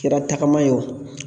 Kɛra tagama ye o